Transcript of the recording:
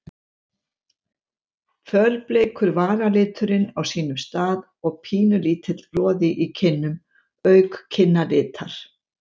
Fölbleikur varaliturinn á sínum stað og pínulítill roði í kinnum auk kinnalitar.